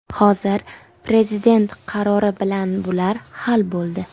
Hozir Prezident qarori bilan bular hal bo‘ldi.